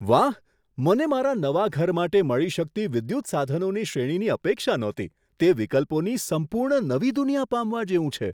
વાહ, મને મારા નવા ઘર માટે મળી શકતી વિદ્યુત સાધનોની શ્રેણીની અપેક્ષા નહોતી તે વિકલ્પોની સંપૂર્ણ નવી દુનિયા પામવા જેવું છે!